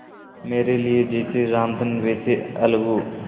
मेरे लिए जैसे रामधन वैसे अलगू